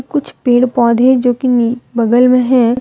कुछ पेड़ पौधे जो की नी बगल में हैं।